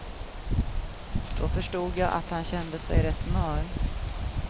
Då förstod jag att han kände sig rätt mör.